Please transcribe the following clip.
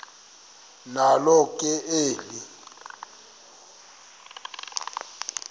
nalo ke eli